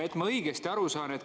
Et ma õigesti aru saaksin, küsin.